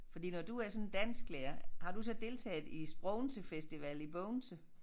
Fordi når du er sådan en dansklærer har du så deltaget i SPROGENSE Festival i Bogense?